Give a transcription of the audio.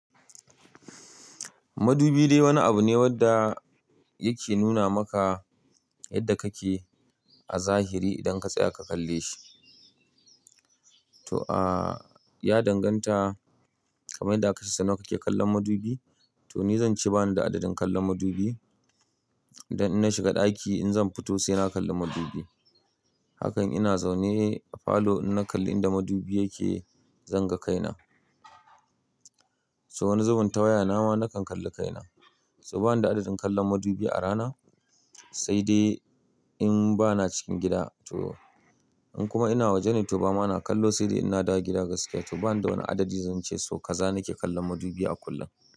Madubi dai wani abu ne wanda yake nuna maka yadda kake a zahiri idan ka tsaya ka kalle shi. To, a ya danganta kamar yadda aka sani kake kallon madubi. To ni zan ce bani da adadin kallon madubi. Dan in na shiga ɗaki in zan fito sai na kalli madubi. Hakan ina zaune a falo inna kalli inda madubi yake, zan ga kaina. To wani zubin tawaya nama na kan kalli kaina. To bani da adadin kallon madubi a rana, sai dai in bana cikin gida. To in kuma ina waje na yi ta ba ma na kallo sai dai inna dawo gida gaskiya. To bani da wani adadi zan ce so kaza nake kallon madubi a kullum.